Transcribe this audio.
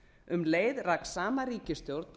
um leið rak sama ríkisstjórn